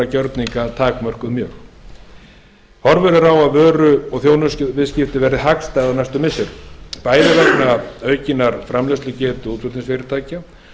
gjörninga takmörkuð horfur eru á að vöru og þjónustuviðskipti verði hagstæð á næstu misserum bæði vegna aukinnar framleiðslugetu útflutningsfyrirtækja